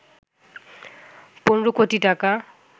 ১৫ কোটি টাকা